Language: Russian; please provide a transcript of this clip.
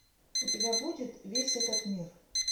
у тебя будет весь этот мир